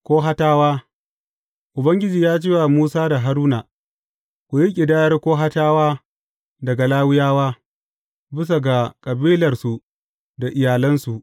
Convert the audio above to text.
Kohatawa Ubangiji ya ce wa Musa da Haruna, Ku yi ƙidaya Kohatawa daga Lawiyawa, bisa ga kabilarsu da iyalansu.